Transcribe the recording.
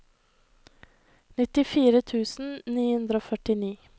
nittifire tusen ni hundre og førtini